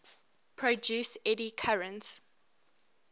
produce eddy currents